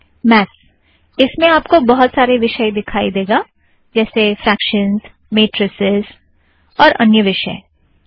maths - इस में आपको बहुत सारे विषय दिखाई देगा जैसे फ्रैक्शंस मैट्रिसेज फ़्राक्शन्ज़ मेट्रिसज़ और अन्य विषय भी